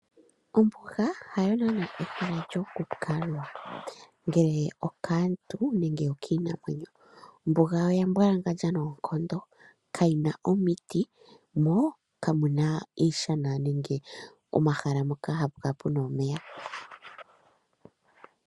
Ombuga hayo naana ehala lyoku kalwa ngele okaantu nenge okiinamwenyo. Ombuga oya mbwalangandja noonkondo, ka yina omiti, mo kamu na iishana nenge omahala moka hapu kala puna omeya.